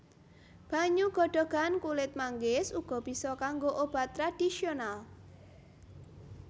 Banyu godhogan kulit manggis uga bisa kanggo obat tradisional